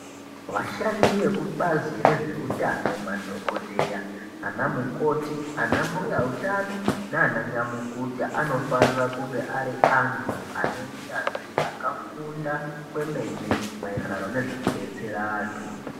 Vashandi vekubazi rezvewutano, madhokodheya nanamukoti, anambuya wutano, nananyamukuta anofanira kunge ari antu anewunyanzvi, akafunda kwemene mayererano nezvekubetsera antu.